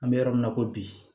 An bɛ yɔrɔ min na i ko bi